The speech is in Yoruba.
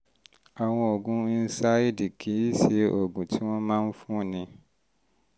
àwọn oògùn nsaids kì í ṣe èyí tí wọ́n máa ń fúnni